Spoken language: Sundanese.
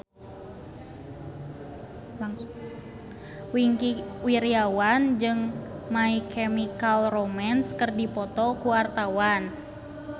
Wingky Wiryawan jeung My Chemical Romance keur dipoto ku wartawan